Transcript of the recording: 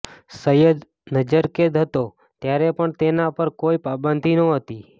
સઈદ નજરકેદ હતો ત્યારે પણ તેના પર કોઈ પાબંદી નહોતી